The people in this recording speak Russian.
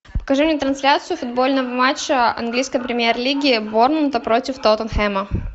покажи мне трансляцию футбольного матча английской премьер лиги борнмута против тоттенхэма